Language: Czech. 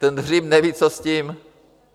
Ten Hřib neví, co s tím.